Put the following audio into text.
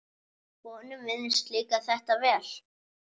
Honum virðist líka þetta vel.